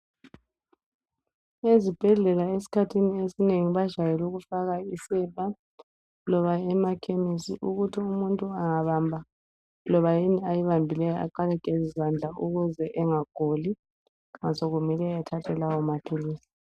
ezibhedlela esikhathini esinengi bajayele ukufaka isepa loba emakhemisi ukuthi umuntuangabamba loba yini ayibambileyo aqale ageze izandla ukuze engaguli nxa sokumele athathe lawo maphilisi